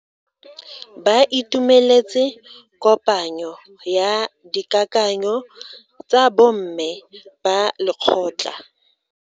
Ba itumeletse kopanyo ya dikakanyo tsa bo mme ba lekgotla.